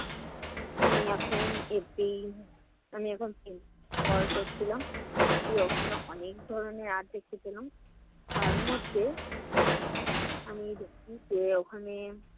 আমি এখন FB আমি এখন scroll করছিলাম গিয়ে ওখানে অনেক ধরনের art দেখতে পেলাম। তার মধ্যে আমি দেখেছি যে ওখানে